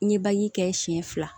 N ye kɛ siɲɛ fila